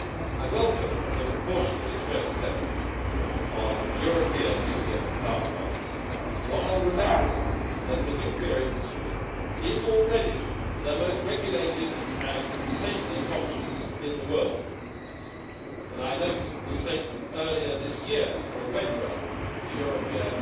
I welcome the precautionary stress tests on European nuclear power plants, while remembering that the nuclear industry is already the most regulated and safety conscious in the world, and I note the statement earlier this year from WENRA, the Western European